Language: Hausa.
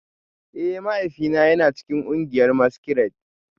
Eh, mahaifina yana cikin kungiyar maskirade